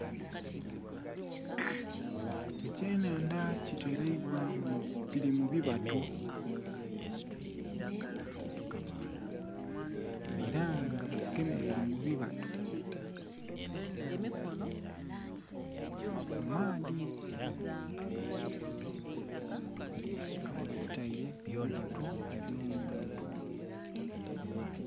Ekye nhandha kiteleibwa mu kili mu bibatu era nga bakigemeire mu bibatu mu maadhi nga ghe bakitaile mu bibatu ebyo muntu.